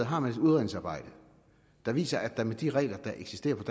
har et udredningsarbejde der viser at der med de regler der eksisterede